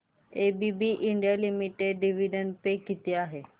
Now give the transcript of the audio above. ABB India limited dividend pay किती आहे